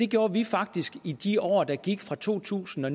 gjorde vi faktisk i de år der gik fra to tusind og